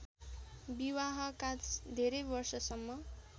विवाहका धेरै वर्षसम्म